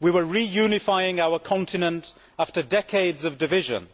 we were reunifying our continent after decades of division.